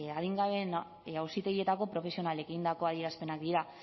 adingabeen auzitegietako profesionalek egindako adierazpenak dira